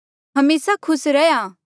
हमेसा खुस रैहया